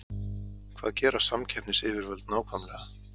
Hvað gera samkeppnisyfirvöld nákvæmlega?